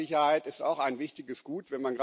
Planungssicherheit ist auch ein wichtiges Gut.